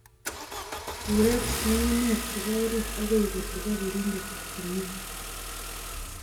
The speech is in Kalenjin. Iwech nyung'unyek chebo orit agoi kotubok keringet komye